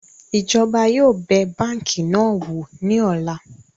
Ìjọba yóò bẹ̀ báńkì náà wò ní ọ̀la